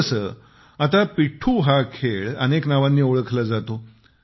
जसे आता पिठ्ठू हा खेळ अनेक नावांनी ओळखला जातो